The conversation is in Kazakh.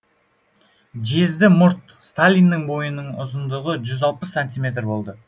жезді мұрт сталиннің бойының ұзындығы жүз алпыс сантиметр болды